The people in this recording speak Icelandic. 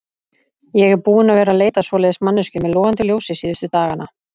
Ég er búinn að vera að leita að svoleiðis manneskju með logandi ljósi síðustu dagana.